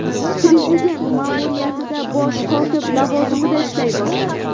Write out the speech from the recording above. Prezident ma’muriyatida bosh kotib lavozimida ishlay boshladi.